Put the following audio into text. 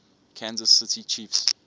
kansas city chiefs